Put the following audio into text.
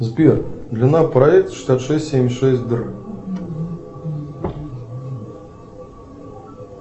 сбер длина проекта шестьдесят шесть семьдесят шесть др